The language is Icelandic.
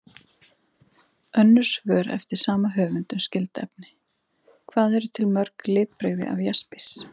Önnur svör eftir sama höfund um skyld efni: Hvað eru til mörg litbrigði af jaspis?